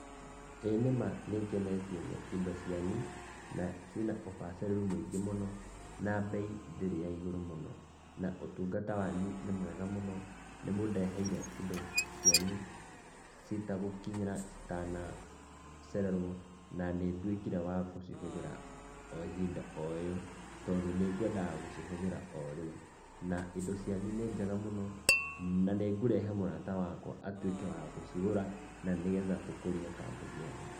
ĩĩ nĩma nĩngenetio nĩ indo cianyu, na ciĩna ũbacirĩru mũingĩ mũno, na mbei ndĩrĩ ya igũrũ mũno na ũtungata wanyu nĩ mwega mũno, nĩ mũndeheire indo cianyu citagukĩnyĩra citana cererwo na nĩ nduĩkire wa gũcihũthĩra o ihinda o ĩyo, tondũ nĩ kwendaga kũhũthĩra o rĩu, na indo cianyu nĩ njega mũno, na nĩ ngũrehe mũrata wakwa atũĩke wa gũcĩgũra, na nĩgetha tũkũrie kambuni yanu.